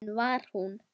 En hvar er hún?